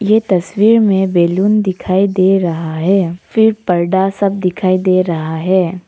ये तस्वीर में बैलून दिखाई दे रहा है फिर पर्दा सब दिखाई दे रहा है।